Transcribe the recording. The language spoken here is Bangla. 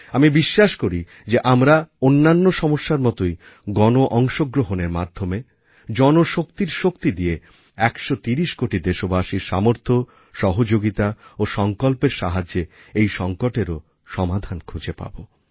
আমি বিশ্বাস করি যে আমরা অন্যান্য সমস্যার মতোই গণ অংশগ্রহণের মাধ্যমে জনগণের শক্তি দিয়ে 130 কোটি দেশবাসীর সামর্থ্য সহযোগিতা ও সংকল্পের সাহায্যে এই সংকটেরও সমাধান খুঁজে নেব